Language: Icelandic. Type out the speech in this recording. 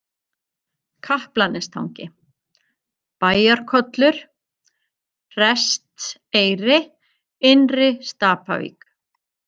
Kaplanestangi, Bæjarkollur, Prestseyri, Innri-Stapavík